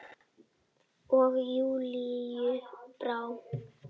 Og Júlíu brá.